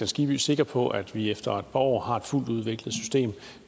skibby sikker på at vi efter et år har et fuldt udviklet system